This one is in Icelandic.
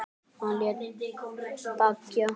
Hann lét byggja